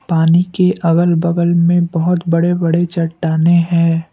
पानी के अगल बगल में बहोत बड़े बड़े चट्टानें हैं।